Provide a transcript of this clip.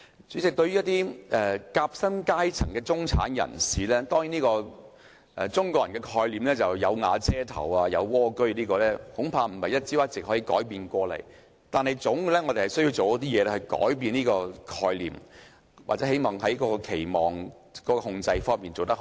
主席，對於一些夾心階層的中產人士，中國人的概念是"有瓦遮頭"、"有蝸居"，這恐怕不是一朝一夕可以改變的概念，但我們總要做一些事情來改變這種概念，或要在期望控制方面做得更好。